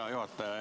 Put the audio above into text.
Hea juhataja!